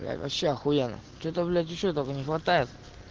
бля вообще ахуенно что-то блять ещё только не хватает